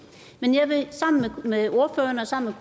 men jeg vil sammen med ordføreren og sammen